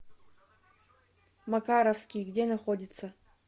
макаровский где находится